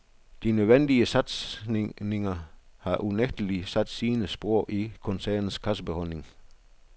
De nødvendige satsniger har unægtelig sat sine spor i koncernens kassebeholdning.